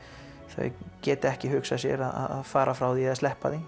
þau geta ekki hugsað sér að fara frá því eða sleppa því